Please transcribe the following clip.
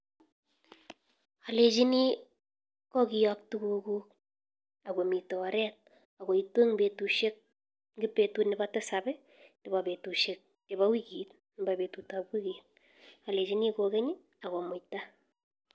Alechini ko kiyop tukukuk akomitei oret akoitu ing betut ab tisab nebo betusiek chepo wikit alechin kokeny akomuita